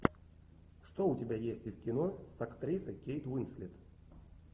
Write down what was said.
что у тебя есть из кино с актрисой кейт уинслет